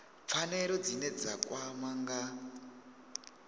pfanelo dzine dza kwama nga